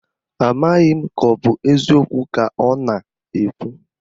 Amaghị m ka ọ bụ eziokwu ka ọ na-ekwu